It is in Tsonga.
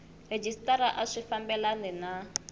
rhejisitara a swi fambelani na